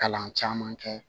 Kalan caman kɛ